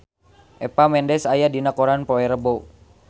Eva Mendes aya dina koran poe Rebo